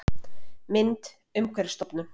Mynd: Umhverfisstofnun